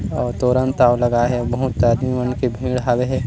आऊ तोरन तार लगाए हे बहोत आदमी मन के भीड़ हावे हे।